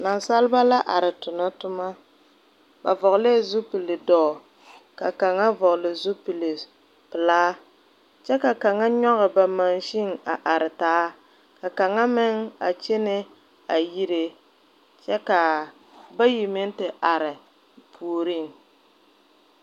Naasaaliba la arẽ a tuna tuma ba vɔgle la zupili duro ka kanga vɔgle zupili pɛlaa kye ka kang nyuge ba machine a arẽ taa ka kanga meng a kyene a yire kye ka bayi meng te arẽ poɔring.